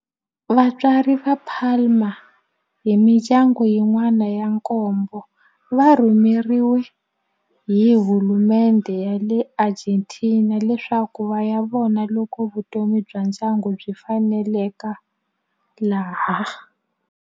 Vatswari va Palma ni mindyangu yin'wana ya nkombo va rhumeriwe hi hulumendhe ya le Argentina leswaku va ya vona loko vutomi bya ndyangu byi faneleka laha.